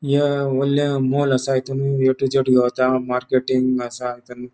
या होडले मॉल आसा हितुन ए टू जेड गावता मार्केटिंग आसा हितुन --